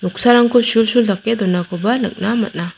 sarangko sulsul dake donakoba nikna man·a.